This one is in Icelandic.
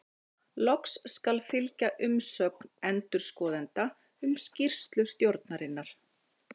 Loks skal fylgja umsögn endurskoðenda um skýrslu stjórnarinnar.